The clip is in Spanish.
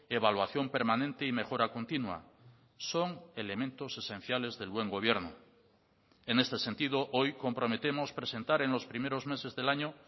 evaluación permanente y mejora continua son elementos esenciales del buen gobierno en este sentido hoy comprometemos presentar en los primeros meses del año